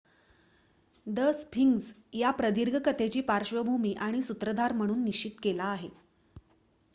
the Sphinx एका प्रदीर्घ कथेची पार्श्वभूमी आणि सूत्रधार म्हणून निश्चित केला आहे